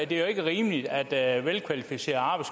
det er jo ikke rimeligt at velkvalificeret